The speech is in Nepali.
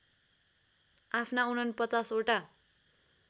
आफ्ना ४९ ओटा